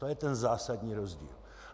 To je ten zásadní rozdíl.